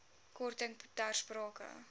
korting ter sprake